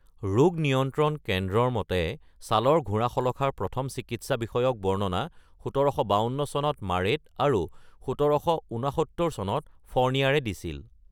ৰোগ নিয়ন্ত্ৰন কেন্দ্ৰৰ মতে ছালৰ ঘোঁৰাশলখাৰ প্ৰথম চিকিৎসা বিষয়ক বৰ্ণনা ১৭৫২ চনত মাৰেট আৰু ১৭৬৯ চনত ফ’ৰ্নিয়াৰে দিছিল।